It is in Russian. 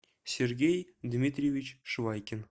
сергей дмитриевич швайкин